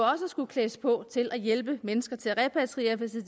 skulle klædes på til at hjælpe mennesker til at repatriere hvis det